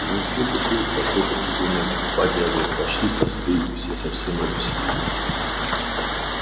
принесли бутыль с какой-то туземной бодягой пошли тосты и все совсем развеселились